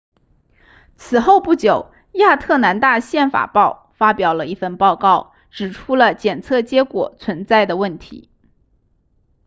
此后不久亚特兰大宪法报发表了一份报告指出了检测结果存在的问题